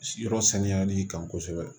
Yɔrɔ saniyali kan kosɛbɛ